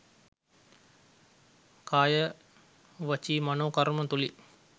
කාය, වචී, මනෝ කර්ම තුළින්